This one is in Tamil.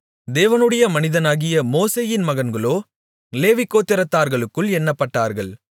தேவனுடைய மனிதனாகிய மோசேயின் மகன்களோ லேவிகோத்திரத்தார்களுக்குள் எண்ணப்பட்டார்கள்